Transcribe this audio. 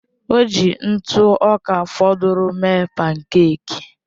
O ji ntụ ọka fọdụrụnụ mee pánkèk